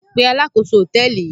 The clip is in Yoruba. Pe alákòóso hòtẹ́ẹ́lì yìí!